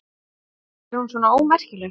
Er hún svona ómerkileg?